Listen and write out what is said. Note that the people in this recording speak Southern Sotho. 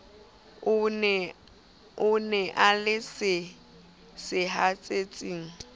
o e na le sehatsetsi